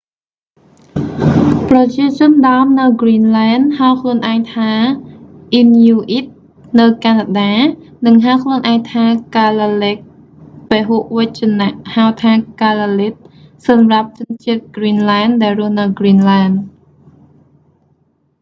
ប្រជាជនដើមនៅគ្រីនលែន ហៅខ្លួនឯងថាអ៊ីនញូអ៊ីតនៅកាណាដា និងហៅខ្លួនឯងថាកាឡាលេក ពហុវចនហៅថា កាឡាលិត សម្រាប់ជនជាតិគ្រីនលែន ដែលរស់នៅគ្រីនលែន